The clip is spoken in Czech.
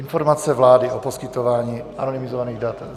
Informace vlády o poskytování anonymizovaných dat.